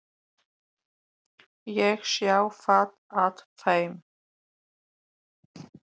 Ég sá það á þeim.